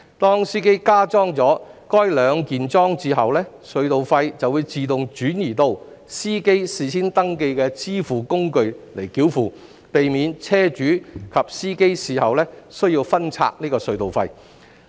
當司機加裝了該兩件式裝置後，隧道費便會自動轉移到司機事先登記的支付工具繳付，避免車主及司機事後需要分拆隧道費。